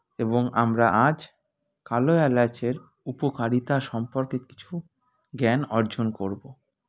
এবং আমরা আজ কালো এলাচের উপকারিতা সম্পর্কে কিছু জ্ঞান অর্জন করবো